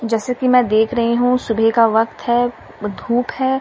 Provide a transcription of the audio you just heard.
जैसे कि मैं देख रही हूं सुबह का वक्त है धूप है।